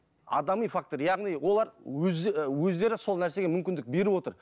адами фактор яғни олар өздері сол нәрсеге мүмкіндік беріп отыр